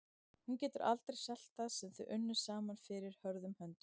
Hún getur aldrei selt það sem þau unnu saman fyrir hörðum höndum.